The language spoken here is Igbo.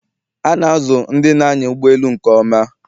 A na-azụ ndị na-anya ụgbọ elu nke ọma